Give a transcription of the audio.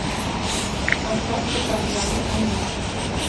поставь каторжане анин